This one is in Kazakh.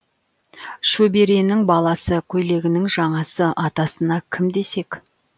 шөберенің баласы көйлегінің жаңасы атасына кім десек